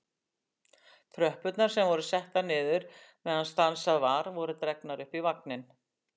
Tröppurnar sem voru settar niður meðan stansað var voru dregnar upp í vagninn.